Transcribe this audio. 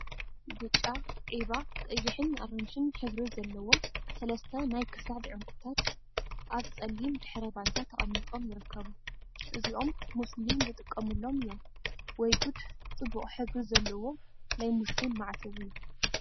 ብጫ፣ ዒባ፣ ቀይሕን አራንሺን ሕብሪ ዘለዎም ሰለስተ ናይ ክሳድ ዕንቍታት አብ ፀሊም ድሕረ ባይታ ተቀሚጦም ይርከቡ፡፡ እዚኦም ሙስሊም ዝጥቀሙሎም እዮም፡፡ ወይ ጉድ ፅቡቅ ሕብሪ ዘለዎ ናይ ሙስሊም ማዕተብ እዩ፡፡